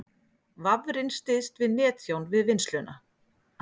Vafrinn styðst við netþjón við vinnsluna